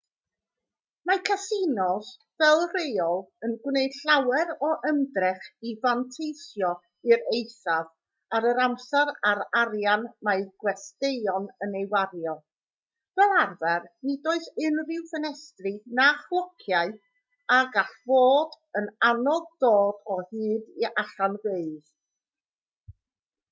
mae casinos fel rheol yn gwneud llawer o ymdrech i fanteisio i'r eithaf ar yr amser a'r arian mae gwesteion yn ei wario fel arfer nid oes unrhyw ffenestri na chlociau a gall fod yn anodd dod o hyd i allanfeydd